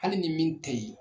Hali ni min tɛ yen